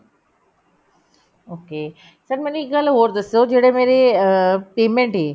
okay sir ਮੈਨੂੰ ਇੱਕ ਗੱਲ ਹੋਰ ਦੱਸੋ ਜਿਹੜੇ ਮੇਰੇ ਅਹ payment ਏ